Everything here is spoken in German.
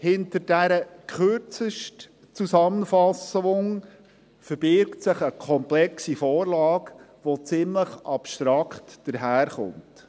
Hinter dieser Kürzestzusammenfassung verbirgt sich eine komplexe Vorlage, welche ziemlich abstrakt daherkommt.